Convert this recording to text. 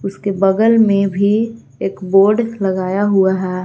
उसके बगल में भी एक बोर्ड लगाया हुआ है।